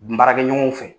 N baarakɛ ɲɔgɔnw fɛ